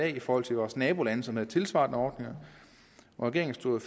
i forhold til vores nabolande som havde tilsvarende ordninger regeringen stod